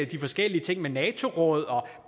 de forskellige ting med nato rådet og